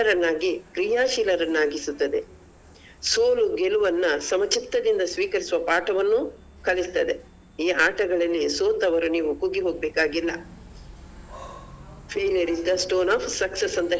ಸದೃಢರನ್ನಾಗಿ ಕ್ರಿಯಾಶೀಲರನ್ನಾಗಿಸುತ್ತದೆ ಸೋಲು ಗೆಲುವನ್ನ ಸಮಚಿತ್ತದಿಂದ ಸ್ವೀಕರಿಸುವ ಪಾಠವನ್ನು ಕಲಿಸ್ತದೆ ಈ ಆಟಗಳಲ್ಲಿ ಸೋತವರು ನೀವು ಕುಗ್ಗಿ ಹೋಗ್ಬೇಕಾಗಿಲ್ಲ failure is the stone of success ಅಂತ ಹೇಳಿಕೊಡುವ ಒಂದು ಒಳ್ಳೆ.